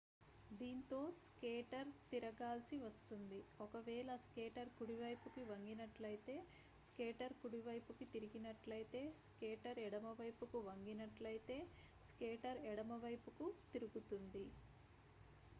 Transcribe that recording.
దీంతో స్కేటర్ తిరగాల్సి వస్తుంది ఒకవేళ స్కేటర్ కుడివైపుకు వంగినట్లయితే స్కేటర్ కుడివైపుకు తిరిగినట్లయితే స్కేటర్ ఎడమవైపుకు వంగినట్లయితే స్కేటర్ ఎడమవైపుకు తిరుగుతుంది